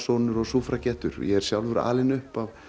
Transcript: og sufragetturog ég er sjálfur alinn upp af